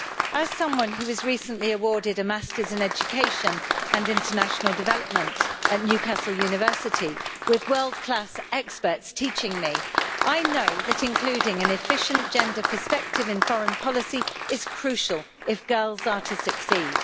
As someone who was recently awarded a Master's in Education and International Development at Newcastle University, with world class experts teaching me, I know that including an efficient gender perspective in foreign policy is crucial if girls are to succeed.